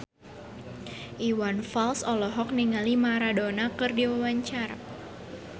Iwan Fals olohok ningali Maradona keur diwawancara